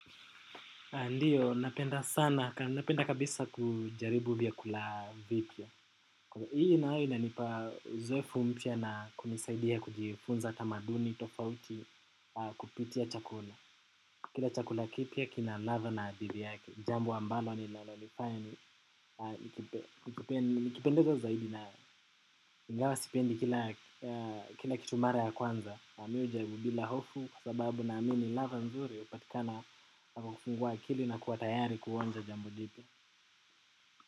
Ndiyo, napenda sana, napenda kabisa kujaribu vyakula vipya. Hii nayo ina uzoefu mpya na kunisaidia kujifunza tamaduni tofauti kupitia chakula. Kila chakula kipya kina ladha na adhili yake. Jambo ambalo ninalolifanya ni, nikipendezo zaidi nayo ingawa sipendi kila kitu mara ya kwanza. Mi hujaribu bila hofu kwa sababu naamini ladha nzuri hupatikana unavyo kufungua akili na kuwa tayari kuonja jambo jipya.